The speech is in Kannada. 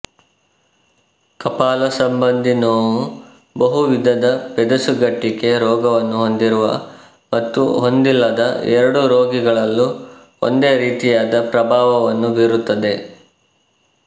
ಕಪಾಲ ಸಂಬಂಧಿ ನೋವು ಬಹುವಿಧದ ಪೆದಸುಗಟ್ಟಿಕೆ ರೋಗವನ್ನು ಹೊಂದಿರುವ ಮತ್ತು ಹೊಂದಿಲ್ಲದ ಎರಡೂ ರೋಗಿಗಳಲ್ಲೂ ಒಂದೇ ರೀತಿಯಾದ ಪ್ರಭಾವವನ್ನು ಬೀರುತ್ತದೆ